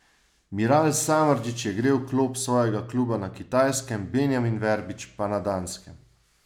Miral Samardžić je grel klop svojega kluba na Kitajskem, Benjamin Verbič pa na Danskem.